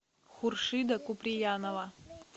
хуршида куприянова